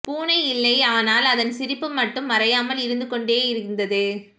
பூனை இல்லை ஆனால் அதன் சிரிப்பு மட்டும் மறையாமல் இருந்து கொண்டேயிருந்தது